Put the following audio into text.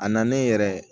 A nalen yɛrɛ